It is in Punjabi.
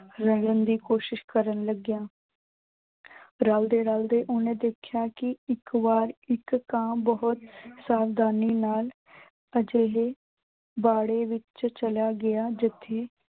ਰਲਣ ਦੀ ਕੋਸ਼ਿਸ਼ ਕਰਨ ਲੱਗਿਆ ਰਲਦੇ-ਰਲਦੇ ਓਹਨੇ ਦੇਖਿਆ ਕਿ ਇੱਕ ਵਾਰ ਇੱਕ ਕਾਂ ਬਹੁਤ ਸਾਵਧਾਨੀ ਨਾਲ ਅਜਿਹੇ ਬਾੜੇ ਵਿੱਚ ਚਲਾ ਗਿਆ ਜਿੱਥੇ